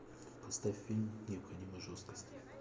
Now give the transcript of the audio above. поставь фильм необходимая жесткость